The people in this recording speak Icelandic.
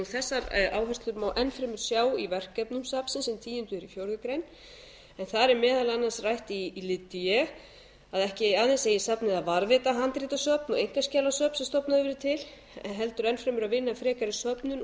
þessar áherslur má enn fremur sjá í verkefnum safnsins um tíu fjórar greinar en þar er meðal annars rætt í lið d að ekki aðeins eigi safnið að varðveita handritasöfn og einkaskjalasöfn sem stofnað hefur verið til heldur enn fremur að vinna frekari söfnun